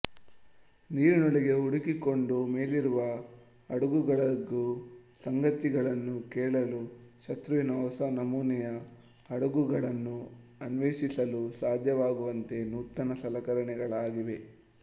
ನೀರಿನೊಳಗೆ ಹುದುಗಿಕೊಂಡು ಮೇಲಿರುವ ಹಡಗುಗಳಲ್ಲಾಗುವ ಸಂಗತಿಗಳನ್ನು ಕೇಳಲೂ ಶತ್ರುವಿನ ಹೊಸ ನಮೂನೆಯ ಹಡಗುಗಳನ್ನು ಅನ್ವೇಷಿಸಲೂ ಸಾಧ್ಯವಾಗುವಂತೆ ನೂತನ ಸಲಕರಣೆಗಳಾಗಿವೆ